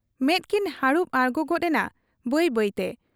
ᱢᱮᱫ ᱠᱤᱱ ᱦᱟᱹᱨᱩᱵ ᱟᱬᱜᱚ ᱜᱚᱫ ᱮᱱᱟ ᱵᱟᱹᱭ ᱵᱟᱹᱭᱛᱮ ᱾